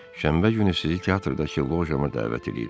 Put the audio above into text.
Şənbə günü sizi teatrdakı lojama dəvət eləyirəm.